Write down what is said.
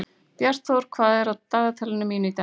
Bjartþór, hvað er á dagatalinu mínu í dag?